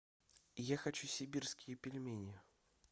я хочу сибирские пельмени